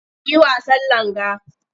Mu yi wasan langa.